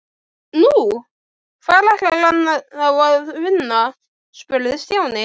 Nú, hvar ætlar hann þá að vinna? spurði Stjáni.